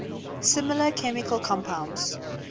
similar chemical compounds